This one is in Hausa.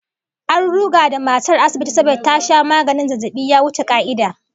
An ruga da matar asibiti saboda ta sha maganin zazzabi ya wuce ka'ida